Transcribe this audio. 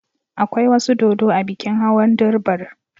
Akwai wasu dodo a bikin Hawan Durbar.